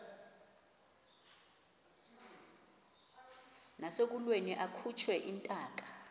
nasekulweni akhutshwe intaka